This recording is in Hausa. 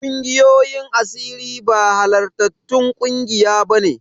Ƙungiyoyin asiri ba halartattun ƙungiya bane.